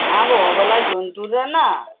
নাগো অবলা জন্তুদের না